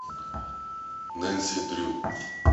нэнси дрю